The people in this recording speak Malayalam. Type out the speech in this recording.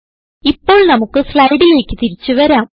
ഇപ്പോൾ നമുക്ക് സ്ലൈഡിലേക്ക് തിരിച്ചു വരാം